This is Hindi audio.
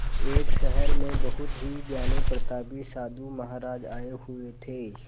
एक शहर में बहुत ही ज्ञानी प्रतापी साधु महाराज आये हुए थे